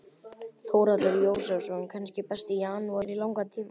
Þórhallur Jósefsson: Kannski besti janúar í langan tíma?